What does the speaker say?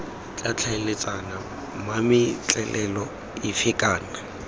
tla tlhaeletsana mametlelelo efe kana